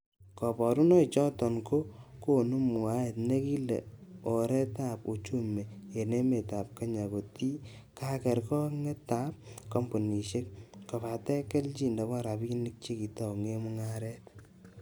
Koborunoik choton, ko konu mwaet nekilen oretab uchumi en emetab kenya kotie kakergonge ab kompunisiek, kobaten kelyin nebo rabinik chekitounen mungaret.